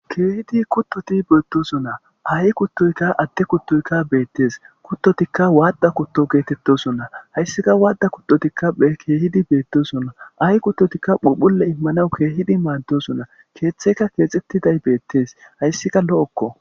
Keehidi kuththoti beetosona aaye kuththoykka, add kuththoykka ta beetees. Kuththotika wadhdha kuththo geetetoosona. Hayssikka waadhdha kuththotikka keehidi beetosona. aaye kuththotikka phuphphule immanaw keehidi maadosona. Keeththekka keexxetidayss bettees. hayssikka lo7okko.